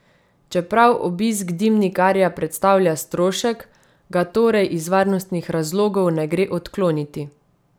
Čeprav obisk dimnikarja predstavlja strošek, ga torej iz varnostnih razlogov ne gre odkloniti.